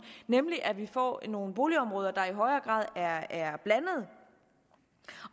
nemlig at vi får nogle boligområder der i højere grad er blandede er